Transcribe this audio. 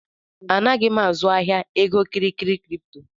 Anaghị m azụ ahịa egokịrịkịrị kripto